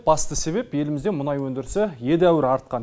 басты себеп елімізде мұнай өндірісі едәуір артқан